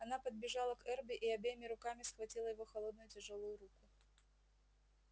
она подбежала к эрби и обеими руками схватила его холодную тяжёлую руку